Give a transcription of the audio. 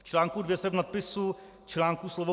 V článku 2 se v nadpisu článku slovo